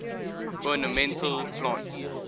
ornamental plants